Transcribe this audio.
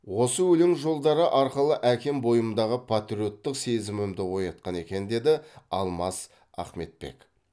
осы өлең жолдары арқылы әкем бойымдағы патриоттық сезімімді оятқан екен деді алмас ахметбек